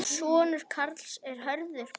Sonur Karls er Hörður Björn.